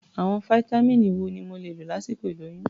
Àwọn fáítámíìnì wo mo lè lò lásìkò ìlóyún?